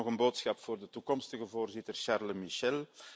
Ten slotte nog een boodschap voor de toekomstige voorzitter Charles Michel.